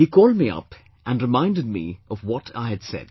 He called me up and reminded me of what I had said